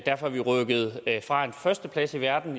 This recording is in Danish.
derfor er vi rykket fra en førsteplads i verden